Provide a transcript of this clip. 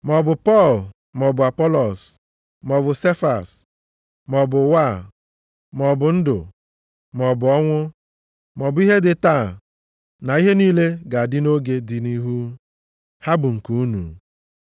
Ma ọ bụ Pọl, maọbụ Apọlọs, maọbụ Sefas, maọbụ ụwa a, maọbụ ndụ, maọbụ ọnwụ, maọbụ ihe dị taa na ihe niile ga-adị nʼoge dị nʼihu, ha bụ nke unu.